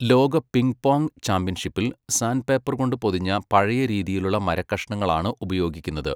ലോക ping pong ചാമ്പ്യൻഷിപ്പിൽ sandpaper കൊണ്ട് പൊതിഞ്ഞ പഴയ രീതിയിലുള്ള മരക്കഷണങ്ങളാണ് ഉപയോഗിക്കുന്നത്.